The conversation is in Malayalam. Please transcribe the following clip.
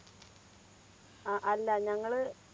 അ അല്ല. ഞങ്ങള്